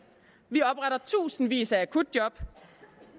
vi opretter tusindvis af akutjob